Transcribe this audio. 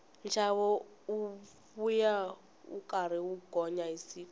nxavo wuya wu karhi wu gonya hi siku